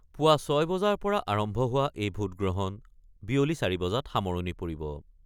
পুৱা ৬ বজাৰ পৰা আৰম্ভ হোৱা এই ভোটগ্ৰহণ বিয়লি ৪ বজাত সামৰণি পৰিব।